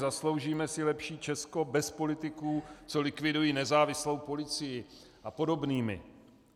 "Zasloužíme si lepší Česko bez politiků, co likvidují nezávislou policii" a podobnými.